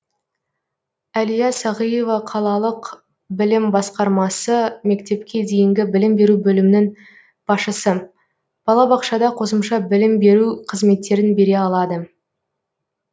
әлия сағиева қалалық білім басқармасы мектепке дейінгі білім беру бөлімінің басшысы балабақшада қосымша білім беру қызметтерін бере алады